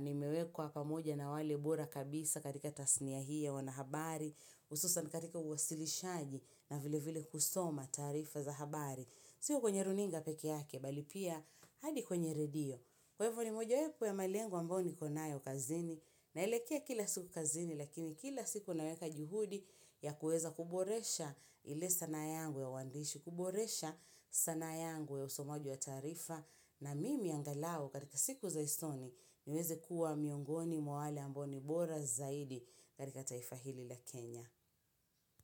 nimewekwa pamoja na wale bora kabisa katika tasnia hii ya wanahabari. Hususan katika uwasilishaji na vile vile kusoma tarifa za habari. Sio kwenye runinga peke yake, bali pia hadi kwenye redio. Kwa hivo ni mojaweko ya malengo yangu ambayo nikonayo kazini naelekea kila siku kazini lakini kila siku naweka juhudi ya kuweza kuboresha ile sanaa yangu ya uandishi, kuboresha sanaa yangu ya usomaji wa tarifa na mimi angalau katika siku za usoni niweze kuwa miongoni mwa wale ambao ni bora zaidi katika taifa hili la Kenya.